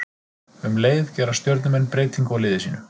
Um leið gera Stjörnumenn breytingu á liði sínu.